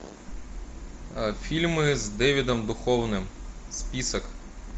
фильмы с дэвидом духовны список